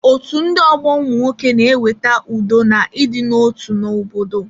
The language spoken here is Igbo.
Otú ndị ọgbọ ụmụnwoke na-eweta udo na idina otu na obodo